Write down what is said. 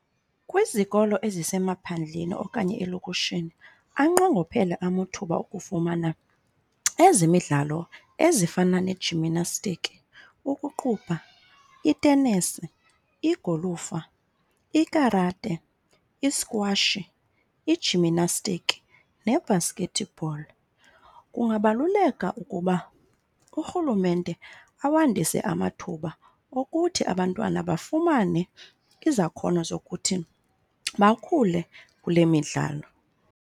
Kwizikolo ezisemaphandleni okanye elokishini anqongophele amuthuba okufumana ezemidlalo ezifana nee-jiminastiki, ukuqubha, itenisi, igolufa, ikarate, iskwashi, ijiminastiki, nebhaskethibholi. Kungabaluleka ukuba urhulumente awandise amathuba okuthi abantwana bafumane izakhono zokuthi bakhule kule midlalo.